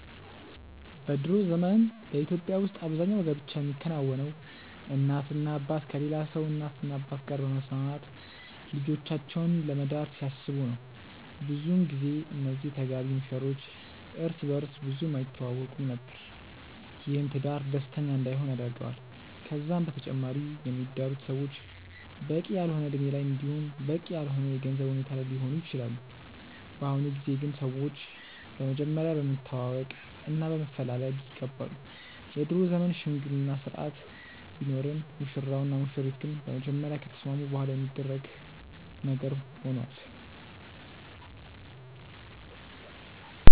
በ ድሮ ዘመን በኢትዮጵያ ውስጥ አብዛኛው ጋብቻ የሚከናወነው እናትና አባት ከሌላ ሰው እናትና አባት ጋር በመስማማት ልጆቻቸውን ለመዳር ሲያስቡ ነበር። ብዙን ጊዜ እነዚህ ተጋቢ ሙሽሮች እርስ በእርስ ብዙም አይተዋወቁም ነበር። ይህም ትዳር ደስተኛ እንዳይሆን ያደርገዋል። ከዛም በተጨማሪ የሚዳሩት ሰዎች በቂ ያልሆነ እድሜ ላይ እንዲሁም በቂ ያልሆነ የገንዘብ ሁኔታ ላይ ሊሆኑ ይችላሉ። በአሁኑ ጊዜ ግን ሰዎች በመጀመሪያ በመተዋወቅ እና በመፈላለግ ይጋባሉ። የድሮ ዘመን የሽምግልና ስርአት ቢኖርም ሙሽራው እና ሙሽሪት ግን በመጀመሪያ ከተስማሙ በኋላ የሚደረግ ነገር ሆኗል።